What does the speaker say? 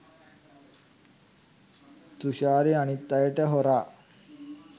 තුෂාරි අනිත් අයට හොරා